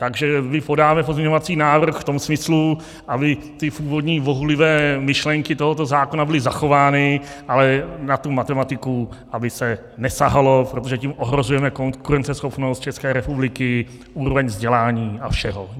Takže my podáme pozměňovací návrh v tom smyslu, aby ty původní bohulibé myšlenky tohoto zákona byly zachovány, ale na tu matematiku aby se nesahalo, protože tím ohrožujeme konkurenceschopnost České republiky, úroveň vzdělání a všeho.